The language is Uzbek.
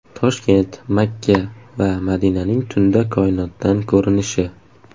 Toshkent, Makka va Madinaning tunda koinotdan ko‘rinishi .